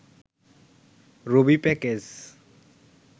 Rabi package